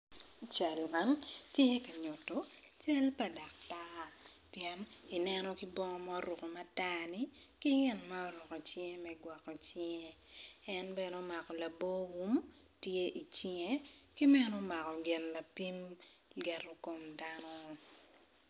I cal man tye nyuto cal pa daktar pien i neno ki bongo ma oruko matar ni ki gin ma oruko i cinge me gwoko cinge en bene omako labor wun tye i cinge ki bene omako gin lapim lyeto kom dano.